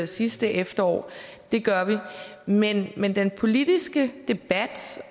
sidste efterår det gør vi men men den politiske debat